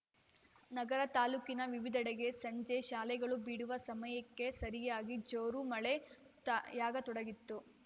ನಗರ ತಾಲೂಕಿನ ವಿವಿಧೆಡೆಗೆ ಸಂಜೆ ಶಾಲೆಗಳು ಬಿಡುವ ಸಮಯಕ್ಕೆ ಸರಿಯಾಗಿ ಜೋರು ಮಳೆ ತ ಯಾಗತೊಡಗಿತು